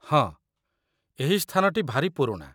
ହଁ, ଏହି ସ୍ଥାନଟି ଭାରି ପୁରୁଣା